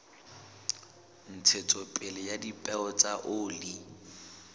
ntshetsopele ya dipeo tsa oli